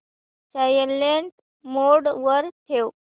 silent mode वर ठेव